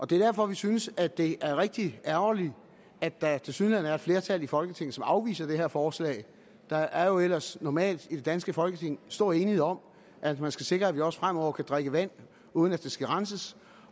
det er derfor vi synes at det er rigtig ærgerligt at der tilsyneladende er et flertal i folketinget som afviser det her forslag der er jo ellers normalt i det danske folketing stor enighed om at man skal sikre at vi også fremover kan drikke vand uden at det skal renses